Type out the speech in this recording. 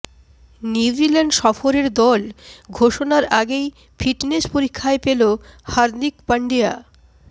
New Zealand সফরের দল ঘোষণার আগেই ফিটনেস পরীক্ষায় ফেল হার্দিক পান্ডিয়া